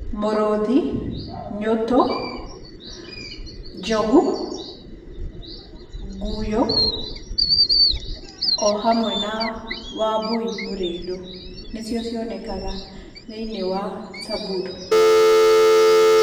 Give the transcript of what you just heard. Mũrũthi, nyũtũ, njogu, nguyo ohamwe na wambũi mũrĩndũ ni cio cionekaga thĩ~inĩ wa samburu.